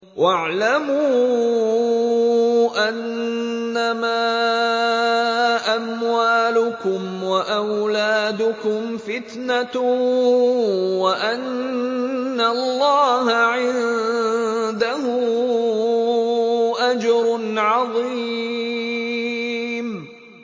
وَاعْلَمُوا أَنَّمَا أَمْوَالُكُمْ وَأَوْلَادُكُمْ فِتْنَةٌ وَأَنَّ اللَّهَ عِندَهُ أَجْرٌ عَظِيمٌ